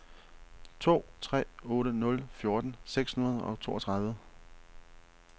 to tre otte nul fjorten seks hundrede og toogtredive